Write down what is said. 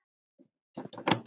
Það er magnað.